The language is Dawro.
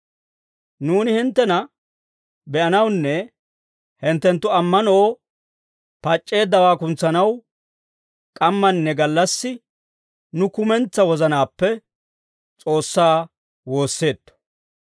Nuuni hinttena be'anawunne hinttenttu ammanoo pac'c'eeddawaa kuntsanaw, k'ammanne gallassi nu kumentsaa wozanaappe S'oossaa woosseetto.